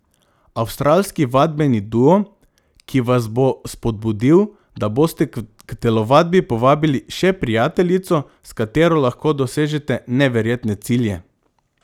Avstralski vadbeni duo, ki vas bo spodbudil, da boste k telovadbi povabili še prijateljico, s katero lahko dosežete neverjetne cilje.